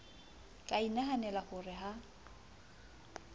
ka inahanela ho re ha